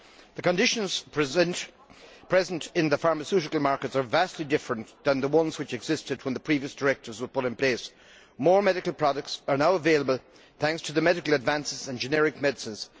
The conditions present in the pharmaceutical markets are vastly different to the ones which existed when the previous directives were put in place. More medical products are now available thanks to medical advances and generic medicines.